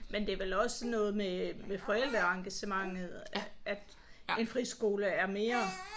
Men det er vel også noget med med forældreengagementet at en friskole er mere